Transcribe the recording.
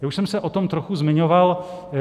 Já už jsem se o tom trochu zmiňoval.